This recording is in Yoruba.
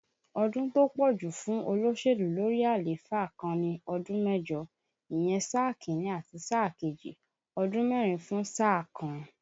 Ọdún tó pọ̀ jù fún olóṣèlú lórí àléfà kan ni ọdún mẹ́jọ, ìyẹn sáà Kínní àti sáà kejì, ọdún mẹ́rin fún sáà kan